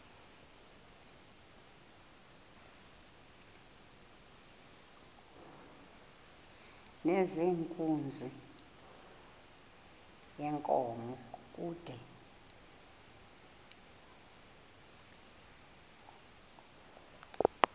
nezenkunzi yenkomo kude